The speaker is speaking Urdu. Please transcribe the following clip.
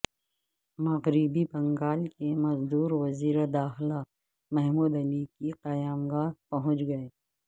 مغربی بنگال کے مزدور وزیر داخلہ محمود علی کی قیامگاہ پہنچ گئے